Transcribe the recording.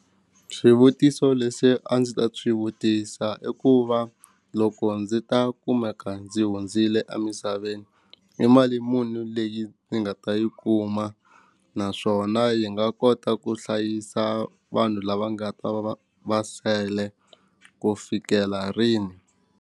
Swivutiso leswi a ndzi ta swi vutisa i ku va loko ndzi ta kumeka ndzi hundzile a misaveni i mali muni leyi ndzi nga ta yi kuma naswona yi nga kota ku hlayisa vanhu lava nga ta va va sele ku fikela rini.